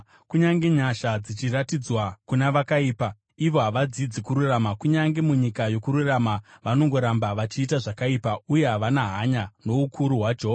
Kunyange nyasha dzichiratidzwa kuna vakaipa, ivo havadzidzi kururama; kunyange munyika yokururama, vanongoramba vachiita zvakaipa, uye havana hanya noukuru hwaJehovha.